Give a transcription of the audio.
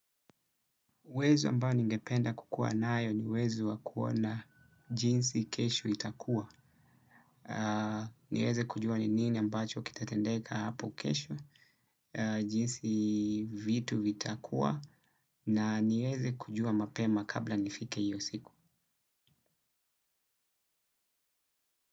Uwezo ambao ningependa kukua nayo ni uwezo wakuona jinsi kesho itakua. Niweze kujua ni nini ambacho kitatendeka hapo kesho, jinsi vitu vitakua na niweze kujua mapema kabla nifike iyo siku.